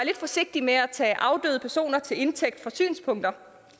forsigtig med at tage afdøde personer til indtægt for synspunkter